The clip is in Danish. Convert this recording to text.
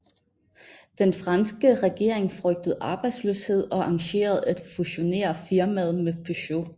Den franske regering frygtede arbejdsløshed og arrangerede at fusionere firmaet med Peugeot